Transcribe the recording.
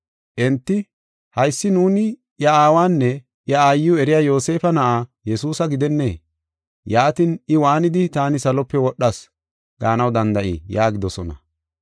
Enti, “Haysi nuuni iya aawanne iya aayiw eriya Yoosefa Na7aa Yesuusa gidennee? Yaatin, I waanidi, ‘Taani salope wodhas’ gaanaw danda7ii?” yaagidosona.